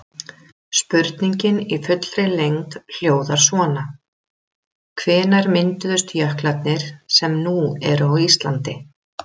Spurningin í fullri lengd hljóðar svona: Hvenær mynduðust jöklarnir sem nú eru á Íslandi?